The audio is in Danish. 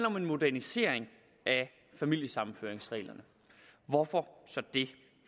om en modernisering af familiesammenføringsreglerne og hvorfor så det